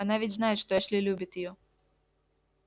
она ведь знает что эшли любит её